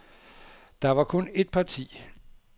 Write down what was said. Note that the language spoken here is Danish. Der var kun et parti.